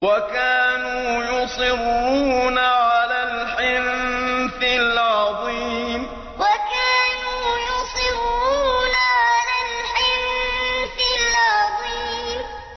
وَكَانُوا يُصِرُّونَ عَلَى الْحِنثِ الْعَظِيمِ وَكَانُوا يُصِرُّونَ عَلَى الْحِنثِ الْعَظِيمِ